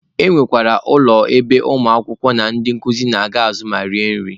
E nwekwara ụlọ ebe ụmụ akwụkwọ na ndị nkuzi na-aga azụ ma rie nri.